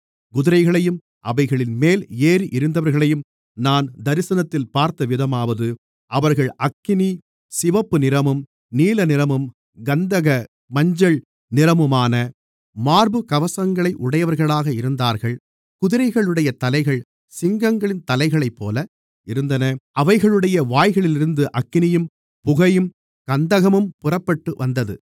குதிரைகளையும் அவைகளின்மேல் ஏறியிருந்தவர்களையும் நான் தரிசனத்தில் பார்த்தவிதமாவது அவர்கள் அக்கினி சிவப்பு நிறமும் நீலநிறமும் கந்தக மஞ்சள் நிறமுமான மார்புக்கவசங்களை உடையவர்களாக இருந்தார்கள் குதிரைகளுடைய தலைகள் சிங்கங்களின் தலைகளைப்போல இருந்தன அவைகளுடைய வாய்களிலிருந்து அக்கினியும் புகையும் கந்தகமும் புறப்பட்டு வந்தது